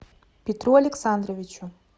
петру александровичу